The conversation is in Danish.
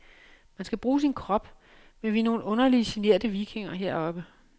Man skal bruge sin krop, men vi er nogen underlige, generte vikinger heroppe.